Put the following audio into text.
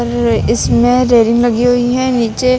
और इसमें रेलिंग लगी हुई हैं नीचे--